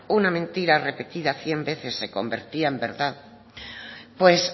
una mentira repetida cien veces se convertía en verdad pues